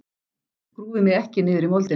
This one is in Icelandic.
Grúfi mig ekki niður í moldina.